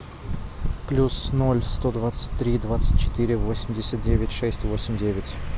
плюс ноль сто двадцать три двадцать четыре восемьдесят девять шесть восемь девять